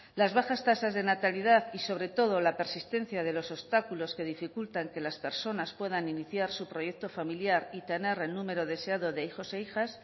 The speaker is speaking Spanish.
las bajas tasas de natalidad y sobre todo la persistencia de los obstáculos que dificultan que las personas puedan iniciar su proyecto familiar y tener el número deseado de hijos e hijas